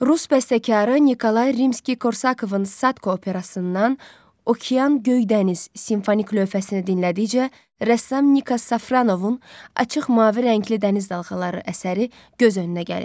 Rus bəstəkarı Nikolay Rimski-Korsakovun Sadko operasından Okean göy dəniz simfonik lövhəsini dinlədikcə, rəssam Nika Safranovun açıq mavi rəngli dəniz dalğaları əsəri göz önünə gəlir.